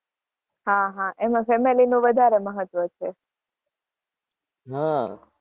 એમાં ફેમિલી નું વધારે મહત્વ છે.